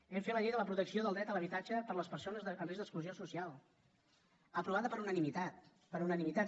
hem fet la llei de la protecció del dret a l’habitatge per a les persones amb risc d’exclusió social aprovada per unanimitat per unanimitat